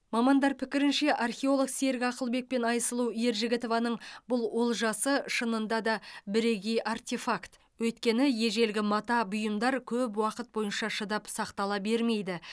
мамандар пікірінше археолог серік ақылбек пен айсұлу ержігітованың бұл олжасы шынында да бірегей артефакт өйткені ежелгі мата бұйымдар көп уақыт бойына шыдап сақтала бермейді